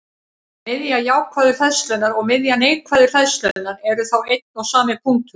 Miðja jákvæðu hleðslunnar og miðja neikvæðu hleðslunnar eru þá einn og sami punkturinn.